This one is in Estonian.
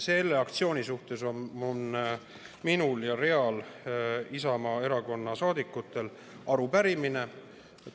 Selle aktsiooni kohta on minul ja mitmel teisel Isamaa Erakonna liikmel arupärimine.